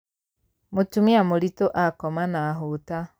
Mũtumia mũritũ akoma na hũta.